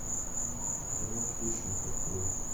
кино хищник открой